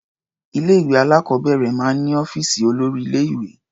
Ilé-ìwé alákọ̀ọ́bẹ̀rẹ̀ máa ń ní ọ́fíìsì olórí-ilé-ìwé.